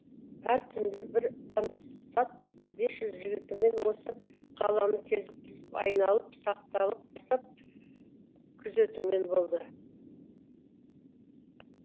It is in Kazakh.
әр түнде бір пансат бес жүз жігітімен осы қаланы кезектесіп айналып сақталық жасап күзетумен болды